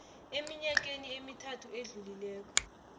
eminyakeni emithathu edlulileko